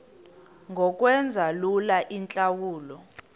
ngokwenza lula iintlawulo